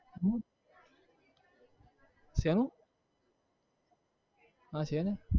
હમ શેનું હા છે ને